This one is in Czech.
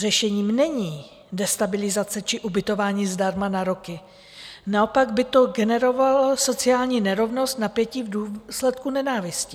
Řešením není destabilizace či ubytování zdarma na roky, naopak by to generovalo sociální nerovnost, napětí v důsledku nenávisti.